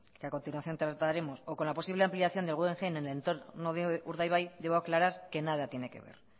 que a continuación trataremos o con la posible ampliación del guggenheim en el entorno de urdaibai debo aclarar que nada tiene que ver